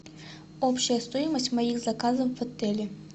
общая стоимость моих заказов в отеле